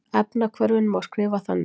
Efnahvörfin má skrifa þannig